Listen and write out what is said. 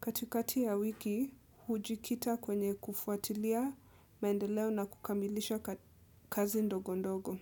Katikati ya wiki hujikita kwenye kufuatilia mendeleo na kukamilisha kazi ndogo ndogo.